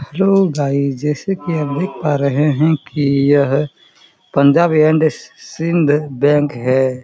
Hello guys जैसे की आप देख पा रहे है की यह पंजाब एंड सिंध बैंक है।